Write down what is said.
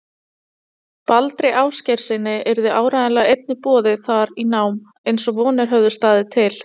Baldri Ásgeirssyni, yrði áreiðanlega einnig boðið þar í nám, eins og vonir höfðu staðið til.